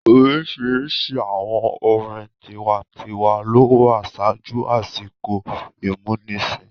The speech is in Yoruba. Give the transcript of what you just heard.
Oríṣiríṣi àwọn orin tiwa-n-tiwa lo wà ṣáájú àsìkò ìmúnisìn.